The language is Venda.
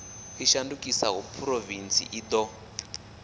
i shandukiseaho phurovintsi i do